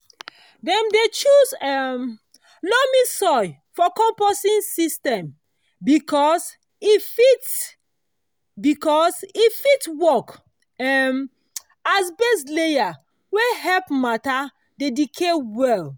dem dey choose um loamy soil for composting system because e fit because e fit work um as base layer wey help matter dey decay well.